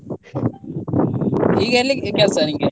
ಈಗ ಎಲ್ಲಿ ಕೆಲ್ಸ ನಿನ್ಗೆ .